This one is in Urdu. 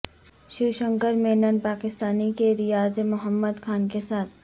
شیو شنکر مینن پاکستانی کے ریاض محد خان کے ساتھ